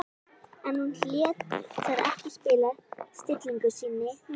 En hún lét það ekki spilla stillingu sinni núna.